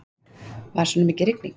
Var svona mikil rigning.